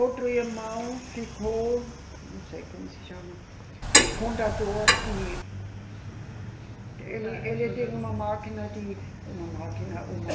Outro irmão ficou, não sei como se chama, contador de. Ele, ele tinha uma máquina de, uma máquina, uma...